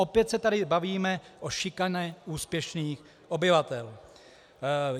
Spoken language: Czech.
Opět se tady bavíme o šikaně úspěšných obyvatel.